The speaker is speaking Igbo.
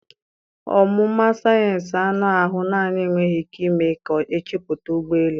Ọmụma sayensị anụ ahụ naanị enweghị ike ime ka ọ chepụta ụgbọ elu.